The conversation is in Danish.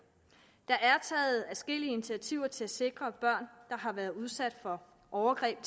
der er taget adskillige initiativer til at sikre at børn der har været udsat for overgreb